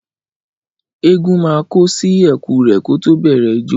Ẹgún mà kò sí ẹkú rẹ ko tọ bẹ rẹ ìjó.